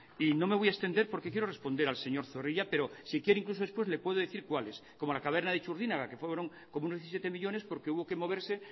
y no me voy a extender porque quiero responder al señor zorrilla pero si quiere incluso después le puedo decir cuáles como la caverna de txurdinaga que fueron como unos diecisiete millónes porque hubo que moverse